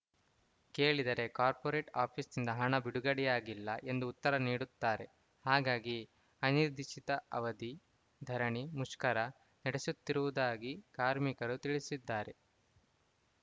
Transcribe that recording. ಕೇಳಿದರೆ ಕಾರ್ಪೊರೇಟ್‌ ಆಫೀಸಿನಿಂದ ಹಣ ಬಿಡುಗಡೆಯಾಗಿಲ್ಲ ಎಂದು ಉತ್ತರ ನೀಡುತ್ತಾರೆ ಹಾಗಾಗಿ ಅನಿರ್ದಿಷ್ಟಅವಧಿ ಧರಣಿ ಮುಷ್ಕರ ನಡೆಸುತ್ತಿರುವುದಾಗಿ ಕಾರ್ಮಿಕರು ತಿಳಿಸಿದ್ದಾರೆ